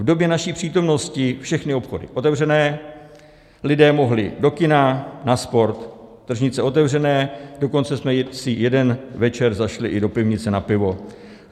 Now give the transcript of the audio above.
V době naší přítomnosti všechny obchody otevřené, lidé mohli do kina, na sport, tržnice otevřené, dokonce jsme si jeden večer zašli i do pivnice na pivo.